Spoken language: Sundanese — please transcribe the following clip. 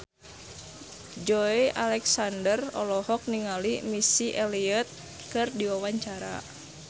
Joey Alexander olohok ningali Missy Elliott keur diwawancara